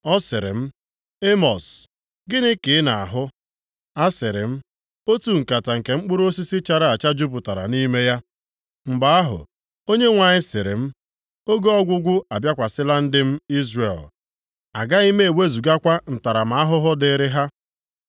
Ọ sịrị m, “Emọs, gịnị ka ị na-ahụ?” A sịrị m: “Otu nkata nke mkpụrụ osisi chara acha jupụtara nʼime ya.” Mgbe ahụ, Onyenwe anyị sịrị m, “Oge ọgwụgwụ abịakwasịla ndị m, Izrel. Agaghị m ewezugakwa ntaramahụhụ dịrị ha.”